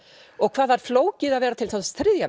og hvað það er flókið að vera þriðja